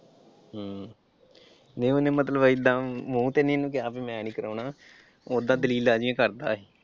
ਹਮ ਨਈਂ ਉਹਨੇ ਮਤਲਬ ਏਦਾਂ ਮੂੰਹ ਤੇ ਨਈਂ ਨਾ ਕਿਹਾ ਵੀ ਮੈਂ ਨਈਂ ਕਰਾਉਣਾ। ਓਦਾਂ ਦਲੀਲਾਂ ਜਿਹੀਆਂ ਕਰਦਾ ਸੀ।